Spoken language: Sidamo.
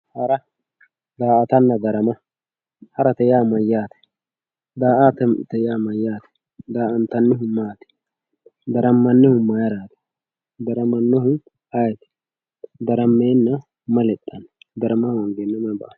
Hara, daa"attanna darama ,harate yaa mayyate ,daa"attate yaa mayyate, daa"attanihu maati, daramanihu mayrati ,daramanohu ayeeti, darameenna mayi lexxano, darama hoongenna mayi lexxano.